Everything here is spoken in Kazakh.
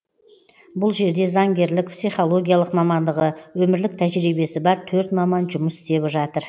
бұл жерде заңгерлік психологиялық мамандығы өмірлік тәжірибесі бар төрт маман жұмыс істеп жатыр